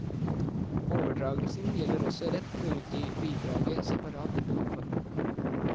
Overdragelsen gjelder også rett til å utgi bidraget separat i bokform.